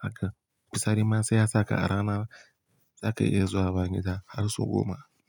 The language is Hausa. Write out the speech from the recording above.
haka, bisa ri ma sai ya sabka a rana, zaka iya zuwa banza har sau goma.